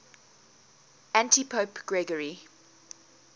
antipope gregory